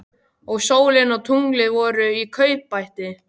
Og sólin og tunglið voru í kaupbæti.